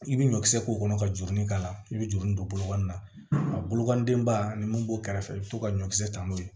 I bɛ ɲɔ kisɛ k'o kɔnɔ ka jurunin k'a la i bɛ juru nin don bolokoli la a bolokandenba ani mun b'o kɛrɛfɛ i bɛ to ka ɲɔkisɛ ta n'o ye